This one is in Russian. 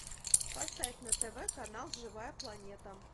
поставь на тв канал живая планета